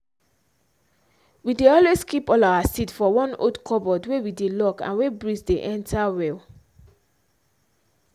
we dey always keep all our seed for one old cupboard wey we dey lock and wey breeze dey enter well.